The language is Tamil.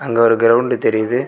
அங்க ஒரு கிரவுண்ட் தெரியுது.